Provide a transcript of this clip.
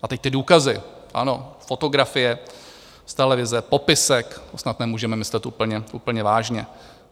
A teď ty důkazy: ano, fotografie z televize, popisek - to snad nemůžeme myslet úplně vážně.